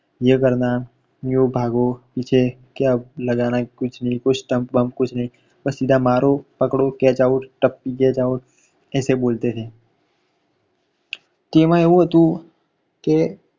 યે કરના યો ભાગો પીછે ક્યાં લગાના હૈ કુછ નહીં કુછ stump બમ કુછ નહીં બસ સીધા મારો પકડો catchout ટપ્પી catchout એઈસે બોલતે થે. કે એમાં એવું હતું કે